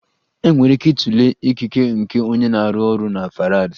Enwere ike ịtụle ikike nke onye na-arụ ọrụ na Farads.